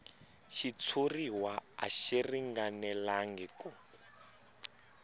xitshuriwa a xi ringanelangi ku